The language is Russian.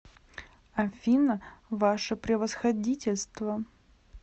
афина ваше превосходительство